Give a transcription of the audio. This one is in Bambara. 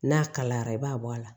N'a kalayara i b'a bɔ a la